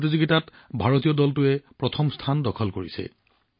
এই প্ৰতিযোগিতাত ভাৰতীয় দলটোৱে প্ৰথম স্থান দখল কৰিছে